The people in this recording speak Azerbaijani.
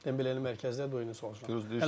Dembele də mərkəzdə oynayırdı, o sol cinahda.